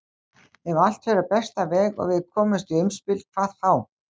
Ef allt fer á besta veg og við komumst í umspil hvað þá?